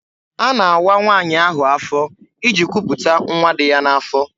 A na-awa nwaanyị ahụ afọ iji kwuputa nwa dị ya n'afọ.